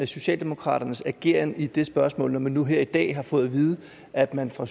socialdemokraternes ageren i det spørgsmål når man nu her i dag har fået at vide at man fra